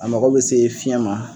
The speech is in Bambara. A mago bɛ se fiɲɛ ma